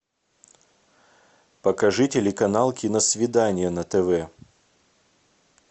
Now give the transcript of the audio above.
покажи телеканал киносвидание на тв